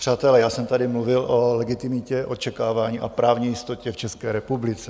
Přátelé, já jsem tady mluvil o legitimitě očekávání a právní jistotě v České republice.